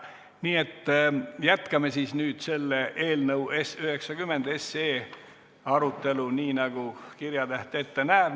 Nii et jätkame siis nüüd eelnõu 90 arutelu nii, nagu kirjatäht ette näeb.